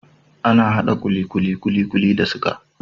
Ana hada kulikuli kulikuli da siga